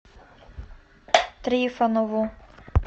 трифонову